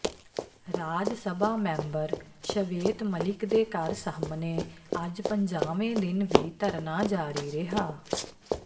ਰਾਜ Sabha member Shwet Malik ਦੇ ਘਰ ਸਾਹਮਣੇ ਅੱਜ ਪੰਜਾਵੇਂ ਦਿਨ ਵੀ ਧਰਨਾ ਜਾਰੀ ਰਿਹਾ